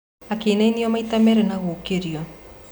Akĩinainio maita merĩ na gũũkĩrio.